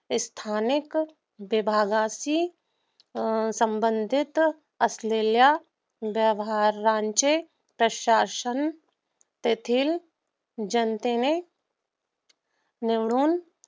स्थानिक विभागाची संबंधित असलेल्या व्यवहारांचे प्रशासन तेथील जनतेने निवडून